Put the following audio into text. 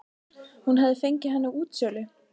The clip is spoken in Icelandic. Hún hafði fengið hann á útsölu.